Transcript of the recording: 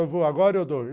Eu vou agora, eu dou.